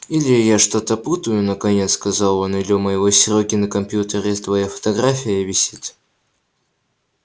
или я что-то путаю наконец сказал он или у моего серёги на компьютере твоя фотография висит